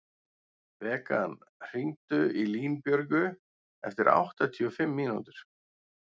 Bekan, hringdu í Línbjörgu eftir áttatíu og fimm mínútur.